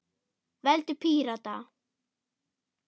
Veldu Pírata.